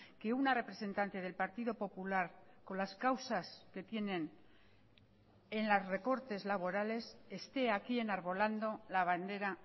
que una representante del partido popular con las causas que tienen en los recortes laborales esté aquí enarbolando la bandera